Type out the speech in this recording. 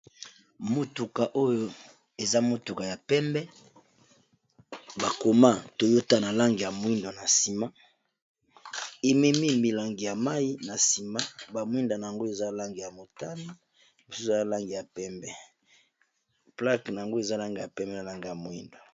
Motuka oyo eza motuka ya pembe, bakoma toyota na lange ya moindo, na nsima ememi milangi ya mai na nsima lnyelnge ya moindo.